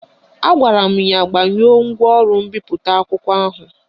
Agwara m ya gbanyụọ ngwaọrụ mbipụta akwụkwọ ahụ